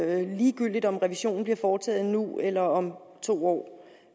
er helt ligegyldigt om revisionen bliver foretaget nu eller om to år